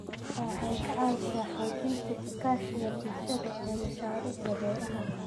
Waxay ka caawisaa xoojinta iskaashiga bulshada ee mashaariicda beeraha.